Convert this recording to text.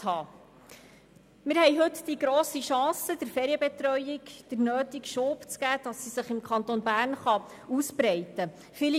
Wir haben heute die grosse Chance, der Ferienbetreuung den nötigen Schub zu geben, damit sie sich im Kanton ausbreiten kann.